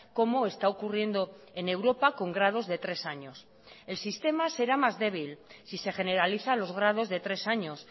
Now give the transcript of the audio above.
como está ocurriendo en europa con grados de tres años el sistema será más débil si se generaliza los grados de tres años